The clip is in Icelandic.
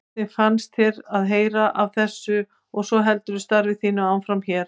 Hvernig fannst þér að heyra af þessu og svo heldurðu starfi þínu áfram hér?